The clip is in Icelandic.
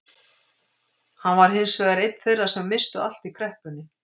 Hann var hins vegar einn þeirra sem misstu allt í kreppunni.